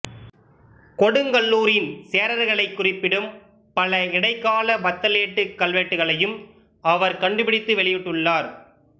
கொடுங்கல்லூரின் சேரர்களைக் குறிப்பிடும் பல இடைக்கால வத்தேலுட்டு கல்வெட்டுகளையும் அவர் கண்டுபிடித்து வெளியிட்டுள்ளார்